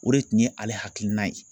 O de tun ye ale hakilina ye.